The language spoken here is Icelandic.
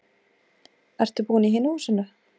Ertu búinn í hinu húsinu?